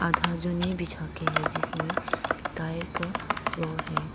आधा जो नहीं बिछा के हैं जिसमें टाइल का फ्लोर है।